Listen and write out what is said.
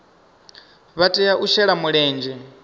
vha tea u shela mulenzhe